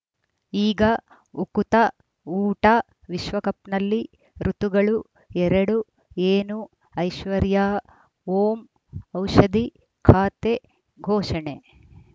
ಈಗ ಉಕುತ ಊಟ ವಿಶ್ವಕಪ್‌ನಲ್ಲಿ ಋತುಗಳು ಎರಡು ಏನು ಐಶ್ವರ್ಯಾ ಓಂ ಔಷಧಿ ಖಾತೆ ಘೋಷಣೆ